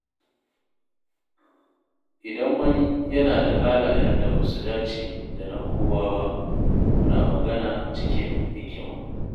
Idan wani yana da halayen da basu dace da na kowa ba, muna magana cikin hikima.